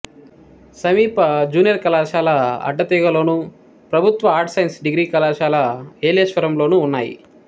సమీప జూనియర్ కళాశాల అడ్డతీగలలోను ప్రభుత్వ ఆర్ట్స్ సైన్స్ డిగ్రీ కళాశాల ఏలేశ్వరంలోనూ ఉన్నాయి